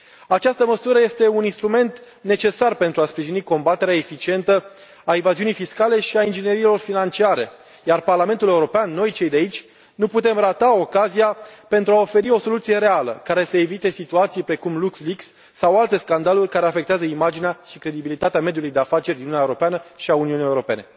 Această măsură este un instrument necesar pentru a sprijini combaterea eficientă a evaziunii fiscale și a ingineriilor financiare, iar Parlamentul European, noi, cei de aici, nu putem rata ocazia pentru a oferi o soluție reală care să evite situații precum Luxleaks sau alte scandaluri care afectează imaginea și credibilitatea mediului de afaceri din Uniunea Europeană și a Uniunii Europene.